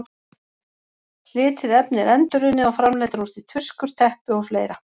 Slitið efni er endurunnið og framleiddar úr því tuskur, teppi og fleira.